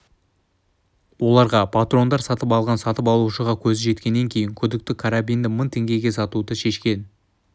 оларға патрондар сатып алған сатып алушыға көзі жеткеннен кейін күдікті карабинді мың теңгеге сатуды шешкен